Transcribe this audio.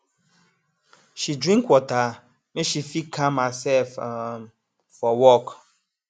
she drink water make she fit calm herself um for work